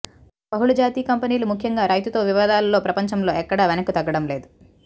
బహుళజాతి కంపెనీలు ముఖ్యంగా రైతుతో వివాదాలలో ప్రపంచంలో ఎక్కడా వెనక్కు తగ్గడం లేదు